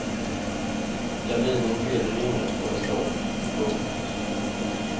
Gardinen gled i ringar på en stång. punkt